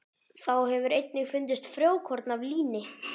Þá hefur einnig fundist frjókorn af líni.